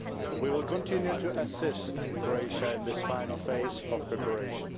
We will continue to assist Croatia in this final phase of preparation.